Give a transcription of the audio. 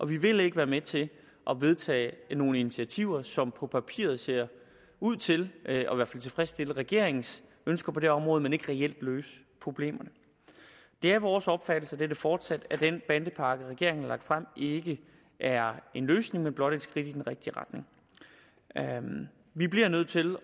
vi vil ikke være med til at vedtage nogle initiativer som på papiret ser ud til at tilfredsstille i regeringens ønsker på det område men ikke reelt løser problemerne det er vores opfattelse og det er det fortsat at den bandepakke regeringen har lagt frem ikke er en løsning men blot et skridt i den rigtige retning vi bliver nødt til